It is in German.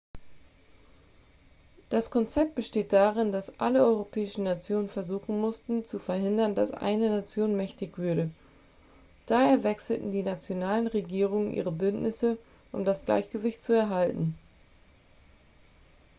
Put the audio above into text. das konzept bestand darin dass alle europäischen nationen versuchen mussten zu verhindern dass eine nation mächtig würde daher wechselten die nationalen regierungen ihre bündnisse um das gleichgewicht zu erhalten